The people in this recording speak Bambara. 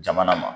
Jamana ma